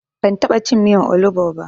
Ban taɓa cin miyan olugbu ba.